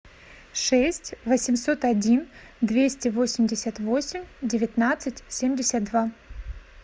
шесть восемьсот один двести восемьдесят восемь девятнадцать семьдесят два